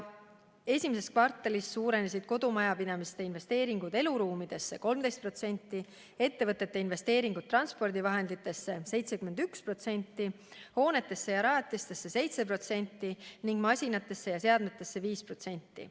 Esimeses kvartalis suurenesid kodumajapidamiste investeeringud eluruumidesse 13%, ettevõtete investeeringud transpordivahenditesse 71%, hoonetesse ja rajatistesse 7% ning masinatesse ja seadmetesse 5%.